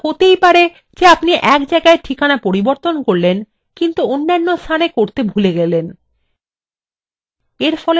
এক্ষেত্রে এটা হতেই পারে যে এক জায়গায় ঠিকানা পরিবর্তন করলেন কিন্তু অন্যান্য স্থানে পরিবর্তন করতে ভুলে গেলেন